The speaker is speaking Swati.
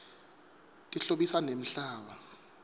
tihlobisa nemhlaba